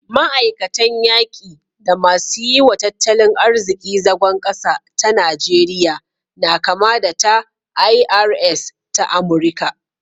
Ma'aikatan yaki da masu yi wa tattalin arziki zagon ƙasa ta Najeriya na kama da ta IRS ta Amurika